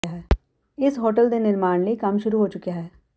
ਇਸ ਹੋਟਲ ਦੇ ਨਿਰਮਾਣ ਲਈ ਕੰਮ ਸ਼ੁਰੂ ਹੋ ਚੁੱਕਿਆ ਹੈ